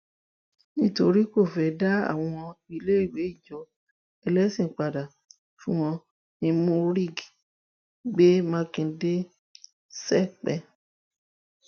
nítorí tó fẹẹ dá àwọn iléèwé ìjọ ẹlẹsìn padà fún wọn murig gbé mákindé sẹpẹ